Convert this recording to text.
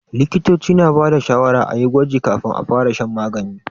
Likitoci na ba da shawarar a yi gwaji kafin a fara shan magani.